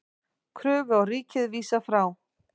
Kröfu á ríkið vísað frá